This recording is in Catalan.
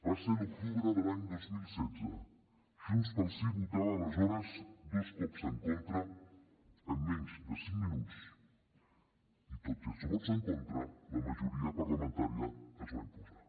va ser l’octubre de l’any dos mil setze junts pel sí hi votava aleshores dos cops en contra en menys de cinc minuts i tot i els vots en contra la majoria parlamentària es va imposar